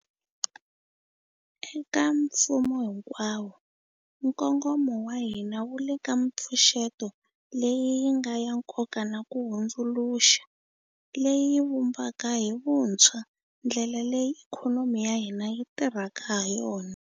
Eka mfumo hinkwawo, nkongomo wa hina wu le ka mipfuxeto leyi yi nga ya nkoka na ku hundzuluxa, leyi yi vumbaka hi vuntshwa ndlela leyi ikhonomi ya hina yi tirhaka hayona.